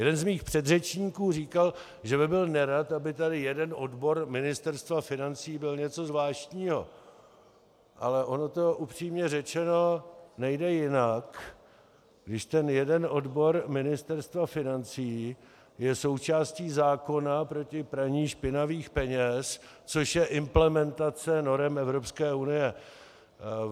Jeden z mých předřečníků říkal, že by byl nerad, aby tady jeden odbor Ministerstva financí byl něco zvláštního, ale ono to upřímně řečeno, nejde jinak, když ten jeden odbor Ministerstva financí je součástí zákona proti praní špinavých peněz, což je implementace norem Evropské unie.